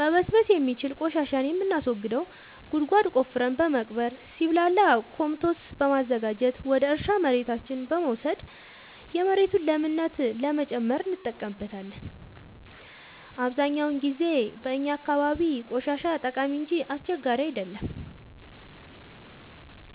መበስበስ የሚችል ቆሻሻን የምናስወግደው ጉድጓድ ቆፍረን በመቅበር ሲብላላ ኮምቶስት በማዘጋጀት ወደ እርሻ መሬታችን በመውሰድ የመሬቱን ለምነት ለመጨመር እንጠቀምበታለን። አብዛኛውን ጊዜ በእኛ አካባቢ ቆሻሻ ጠቃሚ እንጂ አስቸጋሪ አይደለም።